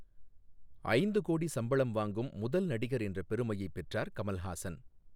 ஐந்து கோடி சம்பளம் வாங்கும் முதல் நடிகர் என்ற பெருமையை பெற்றார் கமல்ஹாசன்.